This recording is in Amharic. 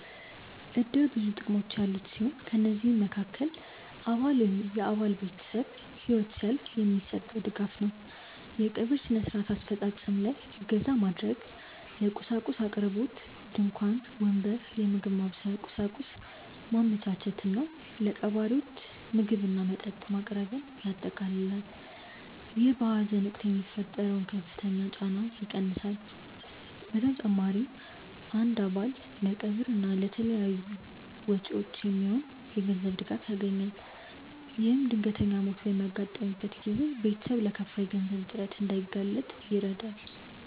እድር ብዙ ጥቅሞች ያሉት ሲሆን ከነዚህም መሃከል አባል ወይም የአባል ቤተሰብ ህይወት ሲያልፍ የሚሰጠው ድጋፍ ነው። የቀብር ስነ-ስርዓት አፈፃፀም ላይ እገዛ ማድረግ፣ የቁሳቁስ አቅርቦት (ድንኳን፣ ወንበር፣ የምግብ ማብሰያ ቁሳቁስ) ማመቻቸት እና ለቀባሪዎች ምግብና መጠጥ ማቅረብን ያጠቃልላል። ይህ በሀዘን ወቅት የሚፈጠረውን ከፍተኛ ጫና ይቀንሳል። በተጨማሪም አንድ አባል ለቀብር እና ለተያያዙ ወጪዎች የሚሆን የገንዘብ ድጋፍ ያገኛል። ይህም ድንገተኛ ሞት በሚያጋጥምበት ጊዜ ቤተሰብ ለከፋ የገንዘብ እጥረት እንዳይጋለጥ ይረዳል።